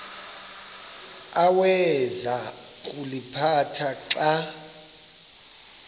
awayeza kuliphatha xa